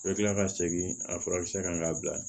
I bɛ tila ka segin a fura bɛ se ka bila